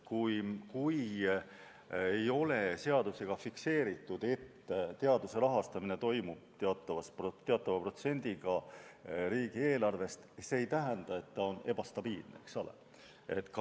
Kui ei ole seadusega fikseeritud, et teaduse rahastamine toimub teatava protsendina riigieelarvest, siis see ei tähenda, et ta on ebastabiilne, eks ole.